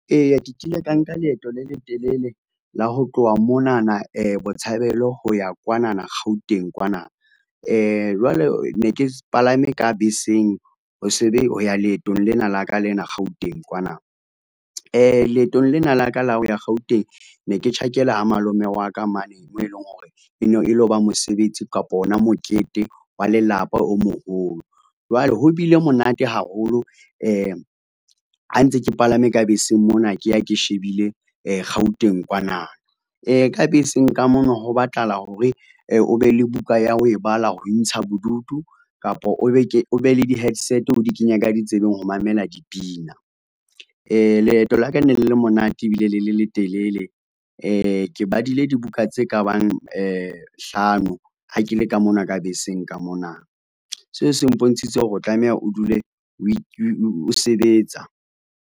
Eya, ke kile ka nka leeto le letelele la ho tloha monana Botshabelo ho ya kwanana Gauteng kwana, jwale ne ke palame ka beseng, ho ya leetong lena laka lena Gauteng kwana. Leetong lena la ka la ho ya Gauteng ne ke tjhakela ha malome wa ka mane moo e leng hore e ne e loba mosebetsi kapa ona mokete wa lelapa o moholo. Jwale ho bile monate haholo ha ntse ke palame ka beseng mona ke ya ke shebile Gauteng kwana ka beseng ka mona ho batlahala hore o be le buka ya ho e bala ho intsha bodutu kapa o be le di headset, o di kenya ka di tsebeng ho mamela dipina. Leeto la ka ne le le monate ebile le le letelele. Ke badile dibuka tse kabang hlano ha ke le ka mona ka beseng ka mona. Seo se mpontshitse hore o tlameha o dule o sebetsa.